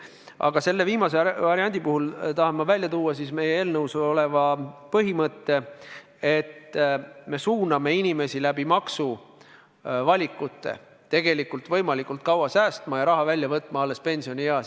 Aga ma tahan välja tuua meie eelnõus oleva põhimõtte, et me suuname inimesi maksuvalikute abil tegelikult võimalikult kaua säästma ja raha välja võtma alles pensionieas.